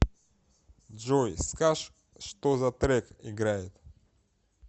джой скаж что за трек играет